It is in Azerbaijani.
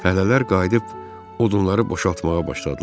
Fəhlələr qayıdıb odunları boşaltmağa başladılar.